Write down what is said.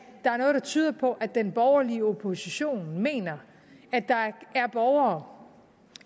der er noget der tyder på at den borgerlige opposition mener at der er borgere